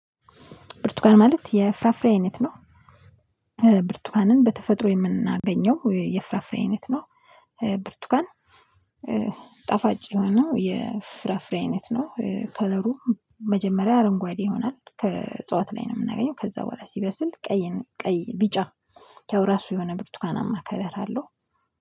ብርቱካን ማለት የፍራፍሬ አይነት ነው። ብርቱካንን በተፈጥሮ የምናገኘው የፍራፍሬ አይነት ነው ብርቱካን ጣፋጭ ሆኖ የፍራፍሬ አይነት ነው ከለሩ መጀመሪያ አረንጓዴ ይሆናል ከእጽዋት ላይ ነው የምናገኘው ከዛ በኋላ ሲበስል ቀይ ቀይ ቢጫ ያው የራሱ የሆነ ብርቱካናማ ከለር አለው